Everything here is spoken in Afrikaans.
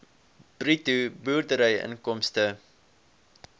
bruto boerderyinkomste